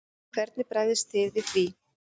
Hvernig bregðist þið við því?